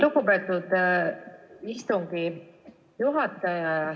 Lugupeetud istungi juhataja!